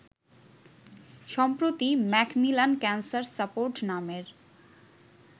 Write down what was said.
সম্প্রতি Macmillan cancer support নামের